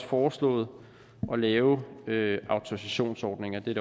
foreslået at lave autorisationsordninger det er